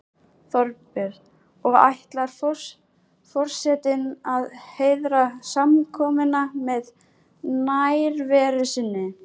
Þorbjörn: Og ætlar forsetinn að heiðra samkomuna með nærveru sinni?